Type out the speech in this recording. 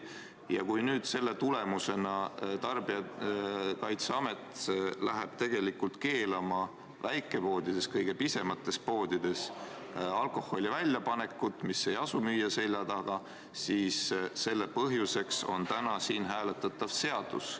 Kui selle tulemusena tarbijakaitseamet läheb keelama väikepoodides, kõige pisemates poodides alkoholi väljapanekut, mis ei asu müüja selja taga, siis selle põhjuseks on täna siin hääletatav seadus.